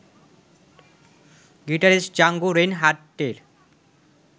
guitarist Django রেইনহাডটের